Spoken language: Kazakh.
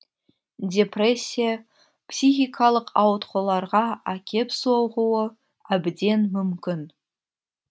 депрессия психикалық ауытқуларға әкеп соғуы әбден мүмкін